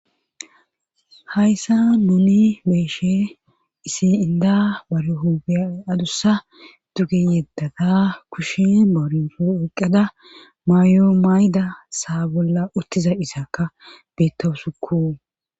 hayssa nuni beeshe isi inda warehube adussa duge yeddata kushin moorinfu eqqada mayo mayda saa bolla uttiza isakka beettowusukku